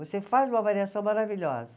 Você faz uma avaliação maravilhosa.